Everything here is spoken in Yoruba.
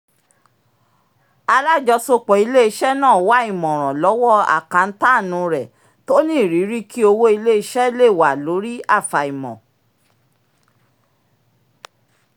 alájọsọpọ ilé-iṣẹ́ náà wá ìmọ̀ràn lọ́wọ́ akántáànù rẹ̀ tó ní ìrírí kí owó ilé-iṣẹ́ le wà lórí afaimọ̀